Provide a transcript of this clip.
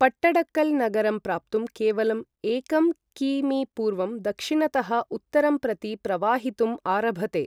पट्टडकल नगरं प्राप्तुं केवलं एकं कि.मी.पूर्वं दक्षिणतः उत्तरं प्रति प्रवाहितुं आरभते ।